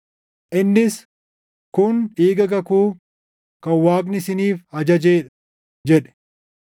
Innis, “Kun dhiiga kakuu kan Waaqni isiniif ajajee dha” + 9:20 \+xt Bau 24:8\+xt* jedhe.